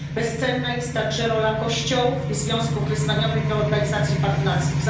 Bezcenna jest także rola kościołów i związków wyznaniowych oraz organizacji partnerskich.